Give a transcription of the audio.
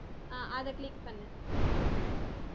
ஆஹ் அதை click பண்ணு